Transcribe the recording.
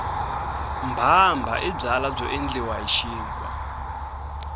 mbhambha i byala byo endliwa hi xinkwa